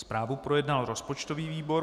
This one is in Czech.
Zprávu projednal rozpočtový výbor.